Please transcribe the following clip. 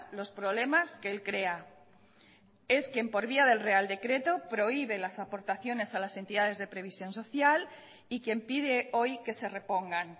los problemas que él crea es quien por vía del real decreto prohíbe las aportaciones a las entidades de previsión social y quien pide hoy que se repongan